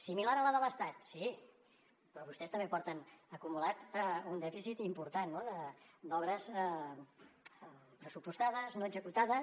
similar a la de l’estat sí però vostès també porten acumulat un dèficit important no d’obres pressupostades no executades